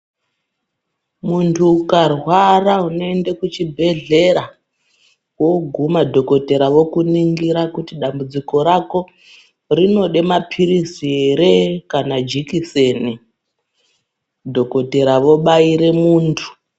Muntu ukarwara unoende kuchibhedhlera woguma dhokodheya vokuningira kuti dambudziko rako rinode mapirizi ere kana jikiseni, dhokodheya vobaire muntu.